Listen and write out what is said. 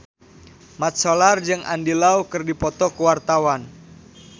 Mat Solar jeung Andy Lau keur dipoto ku wartawan